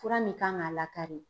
Fura min kan k'a lakari